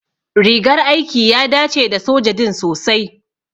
Rigar aiki ya dace da soja din sosai.